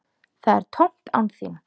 Það er tómt án þín.